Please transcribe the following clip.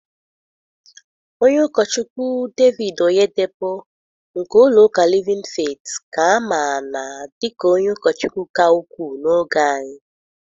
Ọnye ụkọchukwu David Oyedepo nke ụlọ ụka Livin feet ka a ma na dika onye ụkọchukwu ka ukwuu n'oge anyị.